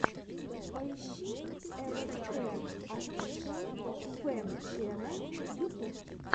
поищи элэспэ офишэл фэн чэнэл ютуб